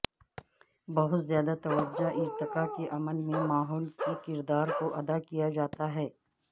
بہت زیادہ توجہ ارتقاء کے عمل میں ماحول کے کردار کو ادا کیا جاتا ہے